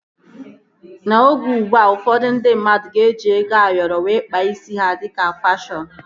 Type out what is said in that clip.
N'oge ugbua, ụfọdụ ndị mmadụ ga-eji ego Ayoro wee kpaa isi ha dịka fashọnu